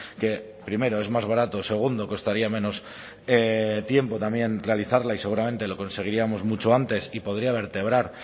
que primero es más baratos segundo costaría menos tiempo también realizarla y seguramente lo conseguiríamos mucho antes y podría vertebrar